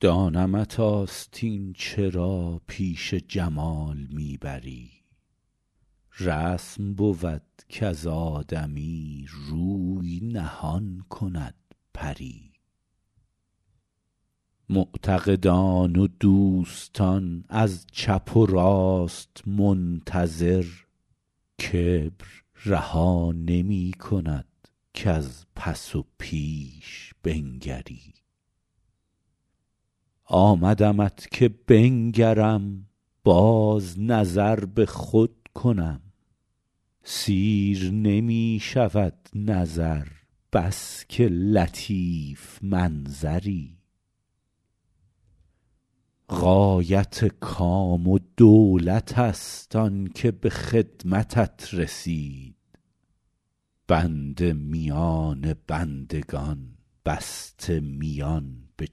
دانمت آستین چرا پیش جمال می بری رسم بود کز آدمی روی نهان کند پری معتقدان و دوستان از چپ و راست منتظر کبر رها نمی کند کز پس و پیش بنگری آمدمت که بنگرم باز نظر به خود کنم سیر نمی شود نظر بس که لطیف منظری غایت کام و دولت است آن که به خدمتت رسید بنده میان بندگان بسته میان به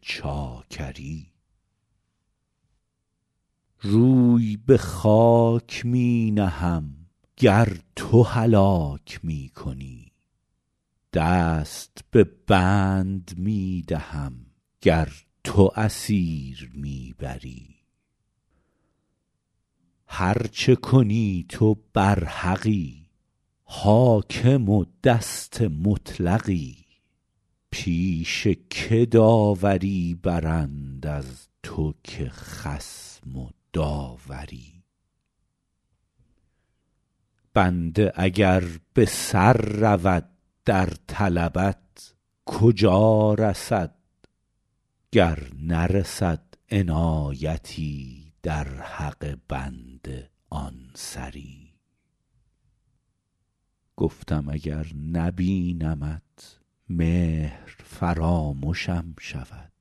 چاکری روی به خاک می نهم گر تو هلاک می کنی دست به بند می دهم گر تو اسیر می بری هر چه کنی تو برحقی حاکم و دست مطلقی پیش که داوری برند از تو که خصم و داوری بنده اگر به سر رود در طلبت کجا رسد گر نرسد عنایتی در حق بنده آن سری گفتم اگر نبینمت مهر فرامشم شود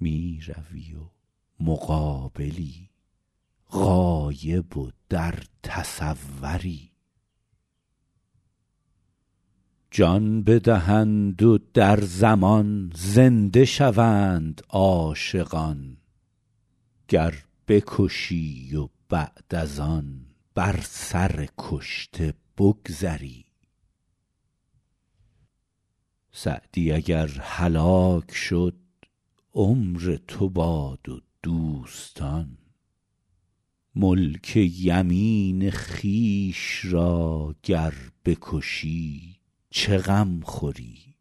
می روی و مقابلی غایب و در تصوری جان بدهند و در زمان زنده شوند عاشقان گر بکشی و بعد از آن بر سر کشته بگذری سعدی اگر هلاک شد عمر تو باد و دوستان ملک یمین خویش را گر بکشی چه غم خوری